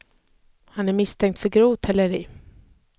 Han är misstänkt för grovt häleri.